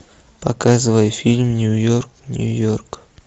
показывай фильм нью йорк нью йорк